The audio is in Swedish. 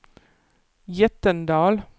Jättendal